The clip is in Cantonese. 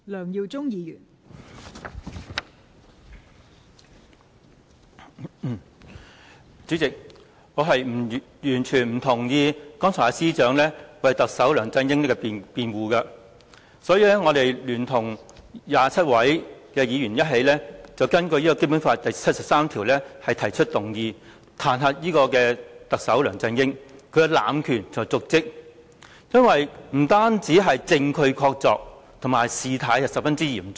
代理主席，我完全不同意司長剛才為特首梁振英所作的辯護，所以我聯同27位議員根據《基本法》第七十三條提出議案，彈劾特首梁振英濫權瀆職，因為此事不單證據確鑿，而且事態十分嚴重。